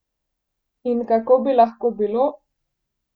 In kako bi lahko bilo?